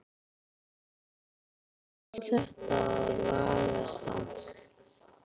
Hvernig á þetta að lagast samt??